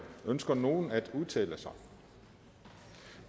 ønsker nogen at udtale sig